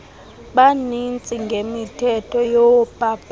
bamanzi ngemithetho yoomasipala